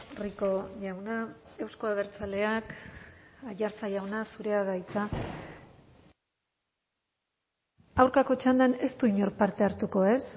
rico jauna euzko abertzaleak aiartza jauna zurea da hitza aurkako txandan ez du inork parte hartuko ez